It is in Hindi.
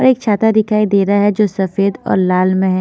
और एक छाता दिखाई दे रहा है जो सफेद और लाल में है।